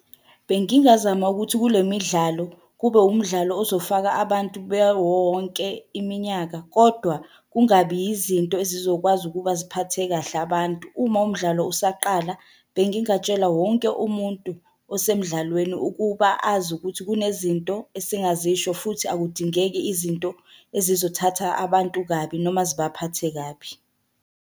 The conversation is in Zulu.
Bengingazama ukuthi kule midlalo, kube wumdlalo ozofaka abantu bewonke iminyaka, kodwa kungabi yizinto ezizokwazi ukuba ziphathe kahle abantu. Uma umdlalo usaqala, bengingatshela wonke umuntu osemdlalweni ukuba azi ukuthi kunezinto esingazisho futhi akudingeki izinto ezizothatha abantu kabi noma zibaphathe kabi.